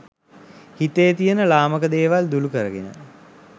හිතේ තියෙන ළාමක දේවල් දුරු කරගෙන,